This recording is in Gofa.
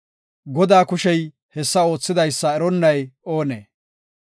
Godaa kushey hessa oothidaysa eronnay oonee?